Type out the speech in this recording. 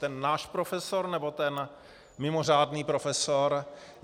Ten náš profesor, nebo ten mimořádný profesor?